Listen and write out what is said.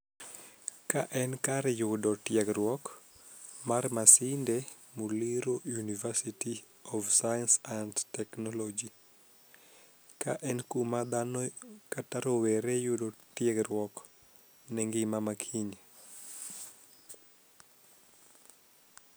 Ka en kar yudo tiegruok mar Masinde Muliro University of science and technology ka en kuma dhano kata rowere yude tiegruok ne ngima makiny.